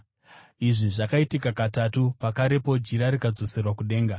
Izvi zvakaitika katatu, pakarepo jira rikadzoserwa kudenga.